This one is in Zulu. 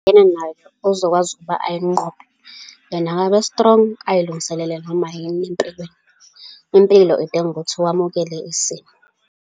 Abhekene nayo, ozokwazi ukuba ayinqobe. Yena akabe strong, azilungiselele noma yini empilweni. Impilo idinga ukuthi wamukele isimo.